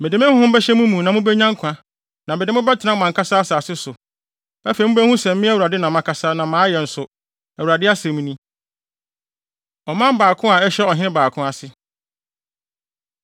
Mede me Honhom bɛhyɛ mo mu na mubenya nkwa, na mede mo bɛtena mo ankasa asase so. Afei mubehu sɛ me, Awurade na makasa na mayɛ nso, Awurade asɛm ni.’ ” Ɔman Baako A Ɛhyɛ Ɔhene Baako Ase